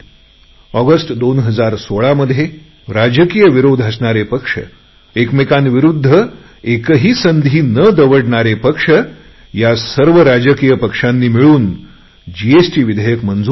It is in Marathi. ऑगस्ट 2016 मध्ये राजकीय विरोध असणारे पक्ष एकमेकांविरुद्ध एकही संधी न दवडणारे पक्ष या सर्व राजकीय पक्षांनी मिळून जीएसटी विधेयक मंजूर केली